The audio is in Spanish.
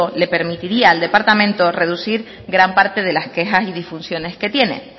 le permitiría al departamento reducir gran parte de las quejas y disfunciones que tiene